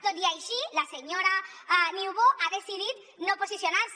tot i així la senyora niubó ha decidit no posicionar se